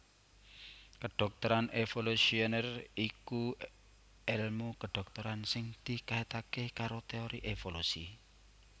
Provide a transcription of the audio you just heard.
Kedhokteran evolusioner iku èlmu kedhokteran sing dikaitaké karo teori evolusi